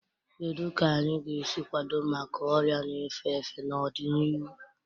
Kedu ka anyị ga-esi kwado maka ọrịa na-efe efe n'ọdịnihu?